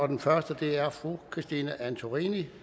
den første er fru christine antorini